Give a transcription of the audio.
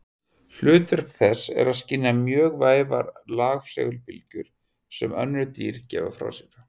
Hlutverk þess er að skynja mjög vægar rafsegulbylgjur sem önnur dýr gefa frá sér.